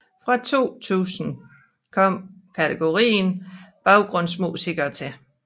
Fra 2000 kom kategorien baggrundsmusikere til